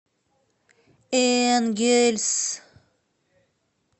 энгельс